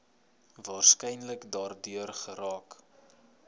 waarskynlik daardeur geraak